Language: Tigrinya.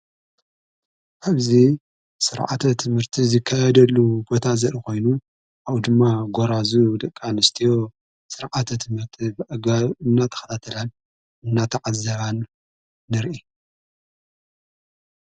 ኅፍዚ ሥርዓተ ትምህርቲ ዝካየደሉ ቦታ ዘርኢ ኾይኑ ካብኡ ድማ ጐራዙ ድቂኣንስትዮ ሥርዓተ ትምህርቲ ብዕጋል እናተኽላተላን እናተዓዘባን ንርኢ